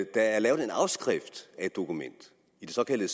er lavet en afskrift af et dokument i det såkaldte